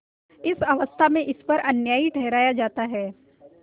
उस अवस्था में ईश्वर अन्यायी ठहराया जाता है